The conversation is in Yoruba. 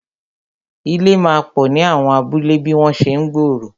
Ilé máa pò ni àwọn abúlé bí wọn ṣe ń gbòòrò